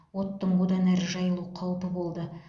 оттың одан әрі жайылу қаупі болды